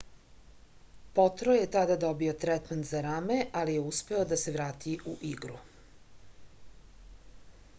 potro je tada dobio tretman za rame ali je uspeo da se vrati u igru